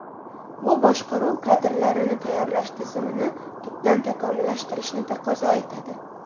Bu boshqaruv kadrlarini tayyorlash tizimini tubdan takomillashtirishni taqozo etadi.